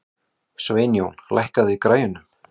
Sveinjón, lækkaðu í græjunum.